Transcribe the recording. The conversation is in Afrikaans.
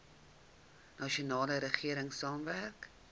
nasionale regering saamwerk